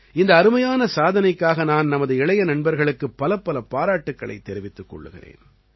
இந்த அருமையான சாதனைக்காக நான் நமது இளைய நண்பர்களுக்குப் பலப்பல பாராட்டுக்களைத் தெரிவித்துக் கொள்கிறேன்